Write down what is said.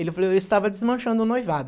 Ele falou, eu estava desmanchando o noivado.